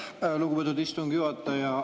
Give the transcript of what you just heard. Aitäh, lugupeetud istungi juhataja!